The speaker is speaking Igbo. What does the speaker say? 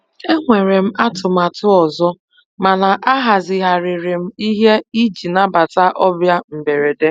E nwere m atụmatụ ọzọ, mana ahazigharịrị m ihe iji nabata ọbịa mberede.